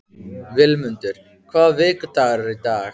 Vilmundur, hvaða vikudagur er í dag?